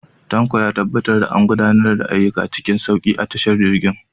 Tanko ya tabbatar da an gudanar da ayyuka cikin sauki a tashar jirgin.